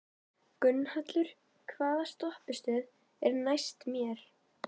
Gunnhallur, hvaða stoppistöð er næst mér?